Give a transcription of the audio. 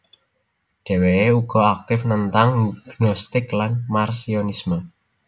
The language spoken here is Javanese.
Deweke ugo aktif nentang Gnostik lan Marcionisme